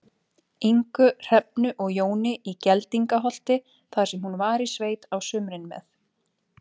Ingu, Hrefnu og Jóni í Geldingaholti, þar sem hún var í sveit á sumrin með